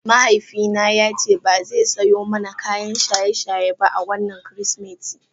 Mahaifina ya ce ba zai sayo mana kayan shaye-shaye ba a wannan Kirsimeti.